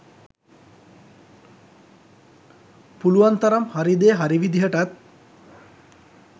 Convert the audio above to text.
පුලුවන් තරම් හරි දේ හරි විදිහටත්